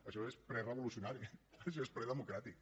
això és prerevolucionari això és predemocràtic